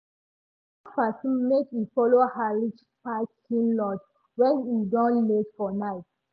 she ask person make e follow her reach parking lot when e don late for night.